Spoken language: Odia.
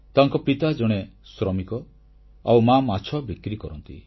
ତାଙ୍କ ପିତା ଜଣେ ଶ୍ରମିକ ଆଉ ମା ମାଛ ବିକ୍ରି କରନ୍ତି